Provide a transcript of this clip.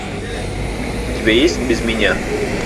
у тебя есть без меня